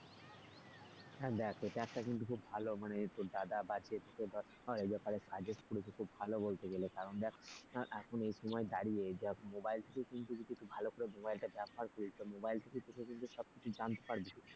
হ্যাঁ দেখ এটা একটা কিন্তু খুব ভালো মানে তোর দাদা বা যে তোকে ধর এই ব্যাপারে suggest করেছে খুব ভালো বলতে গেলে। কারণ দেখ এখন এই সময় দাঁড়িয়ে যে mobile টা তুই যদি একটু ভালো করে mobile টা ব্যবহার করিস mobile থেকেই তুই কিন্তু সবকিছু জানতে পারবি।